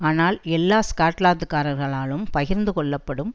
ஆனால் எல்லா ஸ்கொட்லாந்து காரர்களாலும் பகிர்ந்து கொள்ளப்படும்